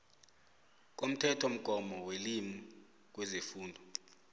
komthethomgomo welimi kwezefundo